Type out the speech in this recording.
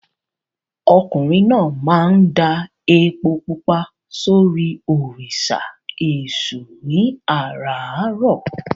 Ọkùnrin náà máa ń da epo pupa sórí òrìṣà Èṣù ní àràárọ̀.